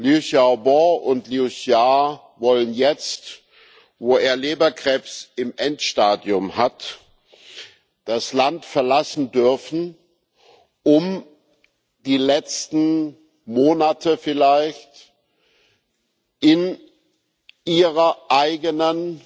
Liu Xiaobo und Liu Xia wollen jetzt, wo er Leberkrebs im Endstadium hat, das Land verlassen dürfen, um die letzten Monate vielleicht in ihrer eigenen